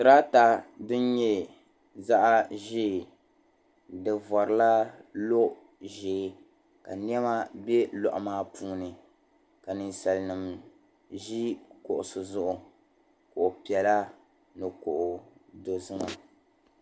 Duri ata din nyɛ zaɣ' ʒee di vorila lo'ʒee ka nyɛma bɛ luaɣu maa puuni ka ninsalanima ʒi kuɣisi zuɣu kuɣu piɛla ni kuɣ'dozima